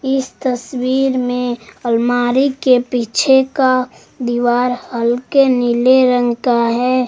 इस तस्वीर में अलमारी के पीछे का दीवार हल्के नीले रंग का है।